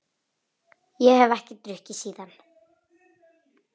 Ég hef ekki drukkið síðan.